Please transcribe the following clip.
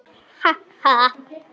Ha ha.